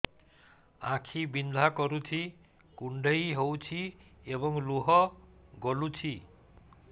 ଆଖି ବିନ୍ଧା କରୁଛି କୁଣ୍ଡେଇ ହେଉଛି ଏବଂ ଲୁହ ଗଳୁଛି